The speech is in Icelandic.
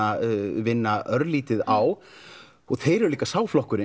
vinna á og þeir eru líka sá flokkur